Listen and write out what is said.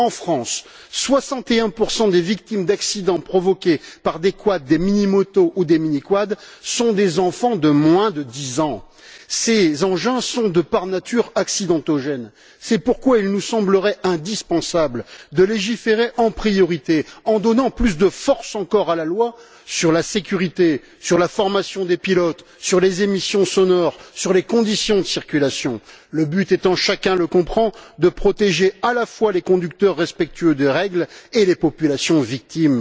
En France, 61 des victimes d'accidents provoqués par des quads, des mini motos ou des mini quads sont des enfants de moins de 10 ans. Ces engins sont, par nature, accidentogènes. C'est pourquoi il nous semblerait indispensable de légiférer en priorité, en donnant plus de force encore à la loi sur la sécurité, sur la formation des pilotes, sur les émissions sonores, sur les conditions de circulation, le but étant chacun le comprend de protéger à la fois les conducteurs respectueux des règles et les populations victimes.